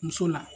Muso la